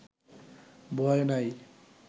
ভয় নাই